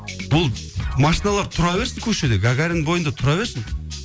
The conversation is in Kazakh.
бұл машиналар тұра берсін көшеде гагарин бойында тұра берсін